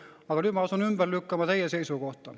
Aga nüüd ma asun ümber lükkama teie seisukohta.